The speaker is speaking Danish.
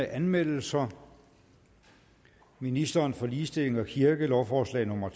anmeldelser ministeren for ligestilling og kirke lovforslag nummer